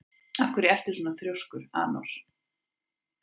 Af hverju ertu svona þrjóskur, Anor?